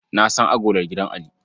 Na san agolar gidan Ali.